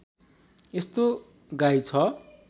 यस्तो गाई छ